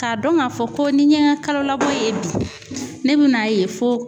K'a dɔn k'a fɔ ko ni n ye n ka kalolabɔ ye bi ne bɛ n'a ye fo